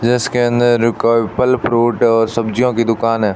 इसके अंदर फल फ्रूट और सब्जियों की दुकान है।